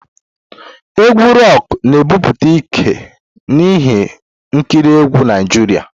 Egwu Roku na-ebute ike n'ihe nkiri egwu Naijiria.